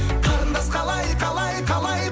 қарындас қалай қалай қалай